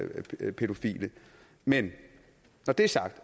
pædofile men når det er sagt